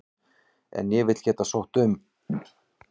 En ég vil geta sótt um.